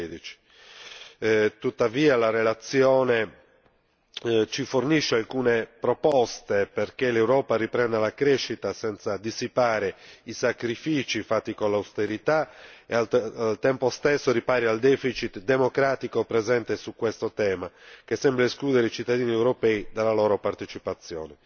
2013. Tuttavia, la relazione ci fornisce alcune proposte perché l'Europa riprenda la crescita senza dissipare i sacrifici fatti con l'austerità e al tempo stesso ripari al democratico presente su questo tema, che sembra escludere i cittadini europei dalla partecipazione.